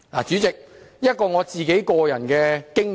主席，談談我的個人經驗。